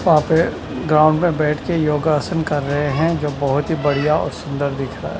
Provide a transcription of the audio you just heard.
वहाँ पे ग्राउंड में बैठ के योगासन कर रहे हैं जो बहुत ही बढ़िया और सुंदर दिख रहा है।